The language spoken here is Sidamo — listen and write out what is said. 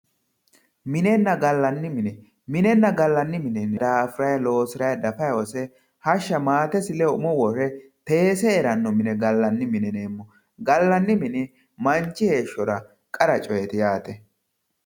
minenna gallanni mine minenna gallanni mine daafuranni loosiranni dafayi hose hashsha maatesi lede umo wore teese heeranno mine gallanni mine yineemmo gallanni mini manchi heeshshora qara coyeeti yaate